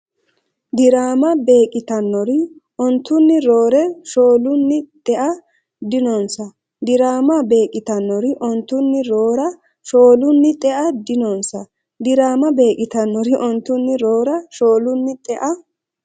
Diraama beeqqitannori ontunni roora, shoolunni xea dinonsa Diraama beeqqitannori ontunni roora, shoolunni xea dinonsa Diraama beeqqitannori ontunni roora, shoolunni xea.